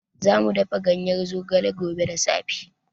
Za mu dafa ganyen zogale gobe da safe.